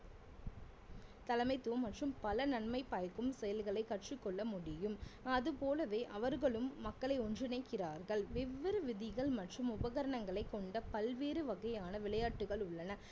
தலைமைத்துவம் மற்றும் பல நன்மை பயக்கும் செயல்களை கற்றுக்கொள்ள முடியும் அதுபோலவே அவர்களும் மக்களை ஒன்றிணைக்கிறார்கள் வெவ்வேறு விதிகள் மற்றும் உபகரணங்களை கொண்ட பல்வேறு வகையான விளையாட்டுகள் உள்ளன